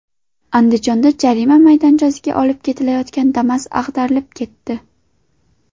Andijonda jarima maydonchasiga olib ketilayotgan Damas ag‘darilib ketdi.